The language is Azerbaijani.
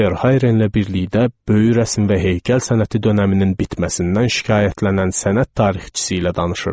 Verhayrenlə birlikdə böyük rəsm və heykəl sənəti dönəminin bitməsindən şikayətlənən sənət tarixçisi ilə danışırdıq.